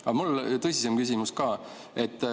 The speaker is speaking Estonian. Aga mul on tõsisem küsimus ka.